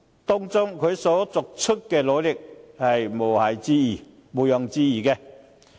他在這方面作出的努力確實毋庸置疑。